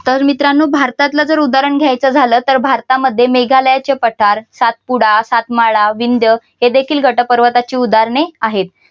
तर मित्रांनो भारतातल जर उदाहरण घ्यायचं झालं तर भारतामध्ये मेघालयाचे पठार, सातपुडा, सातमाळा, विंध्य हे देखील गट पर्वताची उदाहरणे आहेत.